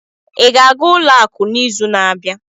ị ga-aga ụlọ akụ n'izu na-abịa?